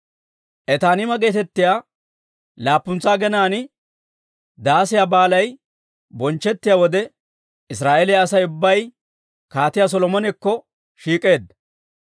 Etaaniima geetettiyaa laappuntsa aginaan, Daasiyaa Baalay bonchchettiyaa wode, Israa'eeliyaa Asay ubbay Kaatiyaa Solomonekko shiik'eedda.